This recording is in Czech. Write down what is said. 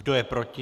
Kdo je proti?